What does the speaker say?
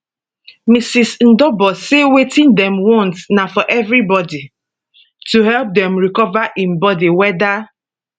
mrs ndobor say wetin dem want na for evribodi to help dem recover im bodi weda